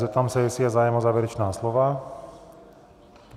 Zeptám se, jestli je zájem o závěrečná slova?